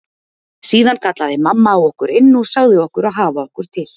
Síðan kallaði mamma á okkur inn og sagði okkur að hafa okkur til.